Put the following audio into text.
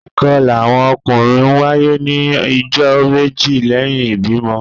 Ìkọla awọn ọkunrin ńwaye ni ijọ meje lẹhin ibimọ.